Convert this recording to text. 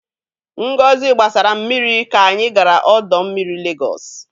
Ngozi gbasara m mmiri ka anyị gara ọdọ mmiri Legọsị.